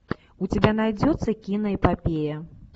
у тебя найдется киноэпопея